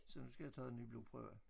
Så nu skal jeg have taget en ny blodprøve